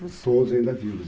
Todos ainda vivos.